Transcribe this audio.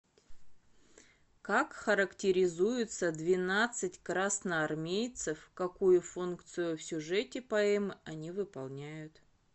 как характеризуются двенадцать красноармейцев какую функцию в сюжете поэмы они выполняют